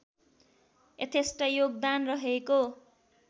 यथेष्ट योगदान रहेको